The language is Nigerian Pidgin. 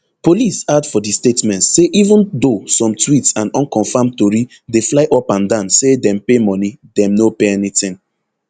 police add for di statement say even though some tweets and unconfirmed tori dey fly upandan say dem pay moni dem no pay anytin